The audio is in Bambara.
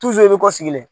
i bɛ kɔ sigilen